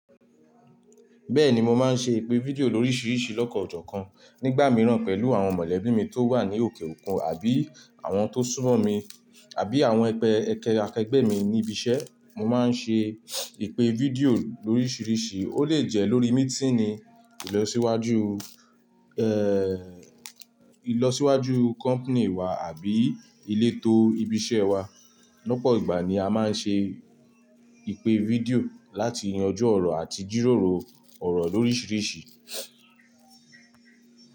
Bẹ́ẹ̀ni, mo máa ń ṣe ìpè fídíò lóríṣiríṣi lọ́kan ọjọ́ kan. Nígbà mìíràn pẹ̀lú àwọn mọ̀lẹ́bí mi tó wà ní òkè òkun àbí àwọn tó súnmọ́ mi, àbí àwọn akẹgbẹ́ mi ní ibi iṣẹ́, mo máa ń ṣe ìpè fídíò lóríṣiríṣi. Ó lè jẹ́ lórí mítínì ìlọsíwájú, ẹ́, ìlọsíwájú kọ̀mpánì wa àbí ilé tó ibi iṣẹ́ wa. Lọ́pọ̀ ìgbà ni a máa ń ṣe ìpè fídíò láti yanju ọ̀rọ̀ àti jíròrò ọ̀rọ̀ lóríṣiríṣi.